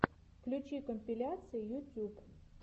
включи компиляции ютюб